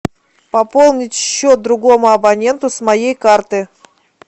пополнить счет другому абоненту с моей карты